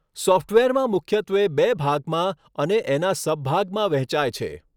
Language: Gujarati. સોફ્ટવેરમાં મુખ્યત્વે બે ભાગમાં અને એના સબભાગમાં વહેચાય છે.